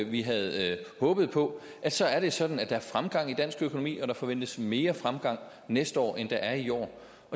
vi havde håbet på så er det sådan at der er fremgang i dansk økonomi og der forventes mere fremgang næste år end der er i år